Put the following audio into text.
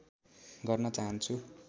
गर्न चाहन्छु